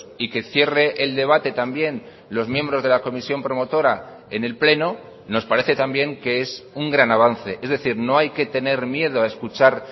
y que cierre el debate también los miembros de la comisión promotora en el pleno nos parece también que es un gran avance es decir no hay que tener miedo a escuchar